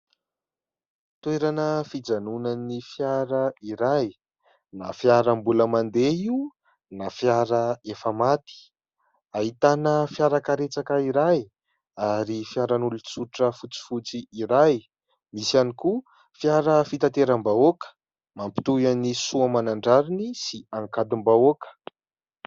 Toerana fijanonan'ny fiara iray, na fiara mbola mandeha io na fiara efa maty. Ahitana fiarakaretsaka iray ary fiaran'olon-tsotra fotsifotsy iray. Misy ihany koa fiara fitateram-bahoaka mampitohy an'i Soamanandrariny sy Ankadimbahoaka.